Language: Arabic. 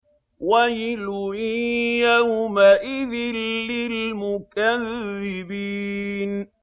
وَيْلٌ يَوْمَئِذٍ لِّلْمُكَذِّبِينَ